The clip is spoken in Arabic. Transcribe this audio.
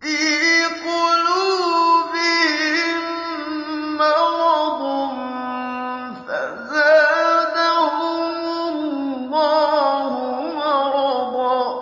فِي قُلُوبِهِم مَّرَضٌ فَزَادَهُمُ اللَّهُ مَرَضًا ۖ